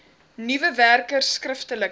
nuwe werkers skriftelike